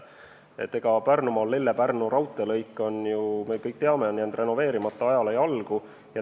Pärnumaal Lelle–Pärnu raudteelõik, me kõik teame, on renoveerimata ja jäänud ajale jalgu.